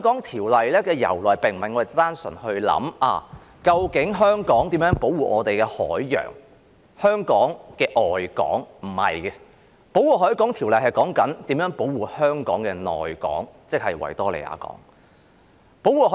《條例》並非單純是源於我們考慮要如何保護香港的海洋，即香港的外港，並不是這樣的，《條例》的內容其實是如何保護香港的內港，即是維多利亞港。